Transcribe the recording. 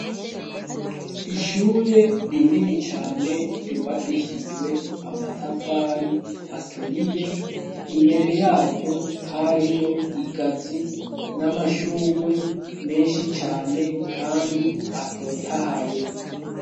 Ishure rinini cane ryubakishijwe amatafari aturiye imbere yaryo hariyo igazu n'amashugwe menshi cane, kandi atotahaye.